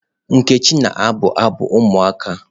Nkechi na-abụ abụ ụmụaka.